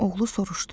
Oğlu soruşdu.